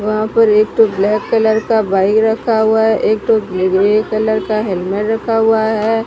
वहां पर एक ठो ब्लैक कलर का बाइक रखा हुआ है एक ठो ग्रे कलर का हेल्मेट रखा हुआ है।